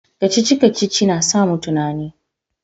kacici-kacici na sa mu tunani